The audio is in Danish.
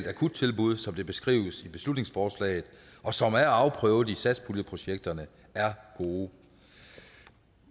akuttilbud som det beskrives i beslutningsforslaget og som er afprøvet i satspuljeprojekterne er gode